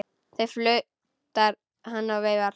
Þá flautar hann og veifar.